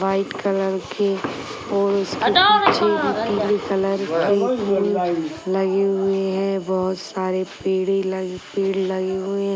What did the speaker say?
White colour की और उसके पीछे भी पीली कलर की लगी हुई हैं। बहोत सारे पेड़े लगी पेड़ लगे हुए।